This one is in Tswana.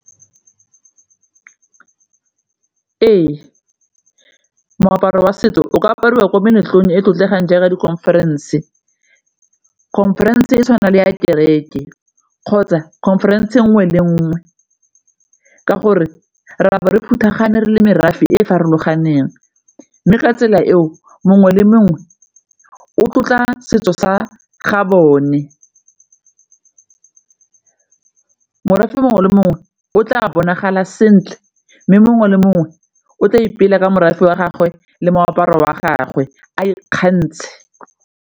Ee, moaparo wa setso o ka apariwa ko meletlong e e tlotlegang jaaka di-conference, conference e tshwana le ya kereke kgotsa conference nngwe le nngwe ke gore re a bo re phuthagane, re le merafe e e farologaneng mme ka tsela eo mongwe le mongwe o tlotla setso sa ga bone morafe mongwe le mongwe o tla bonagala sentle mme mongwe le mongwe o tla ipela ka morafe wa gagwe le moaparo wa gagwe a ikgantshe.